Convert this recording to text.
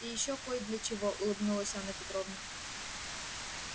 и ещё кой для чего улыбнулась анна петровна